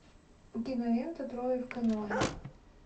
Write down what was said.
кинолента трое в каноэ